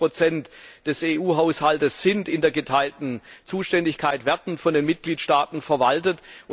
80 der Mittel des EU Haushalts sind in der geteilten Zuständigkeit, werden von den Mitgliedstaaten verwaltet.